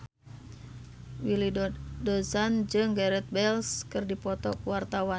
Willy Dozan jeung Gareth Bale keur dipoto ku wartawan